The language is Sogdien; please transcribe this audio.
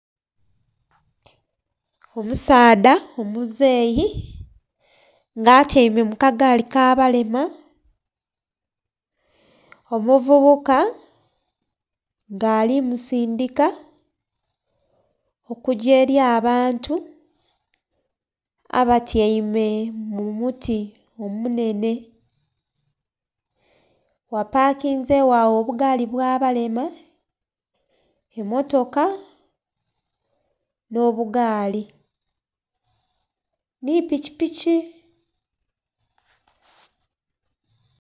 Omusaadha omuzeyi nga atyaime mu kagaali k'abalema, omuvubuka nga ali musindika okugya eli abantu abatyaime mu muti omunhenhe. Ghapakinzegho agho obugaali bwabalema, emmotoka, nh'obugaali, nhi pikipiki.